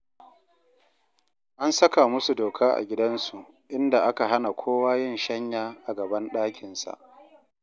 An saka musu doka a gidansu, inda aka hana kowa yin shanya a gaban ɗakinsa